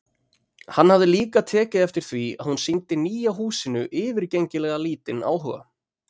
Hann hafði líka tekið eftir því að hún sýndi nýja húsinu yfirgengilega lítinn áhuga.